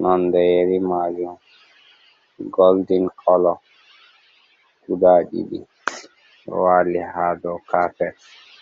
nonde yeri majum goldin kolo guda ɗiɗi ɗo wali ha dow kapet.